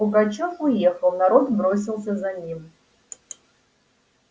пугачёв уехал народ бросился за ним